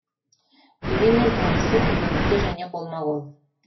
дегенмен табысы күнделікті және қолма қол